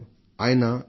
నేను ఎమ్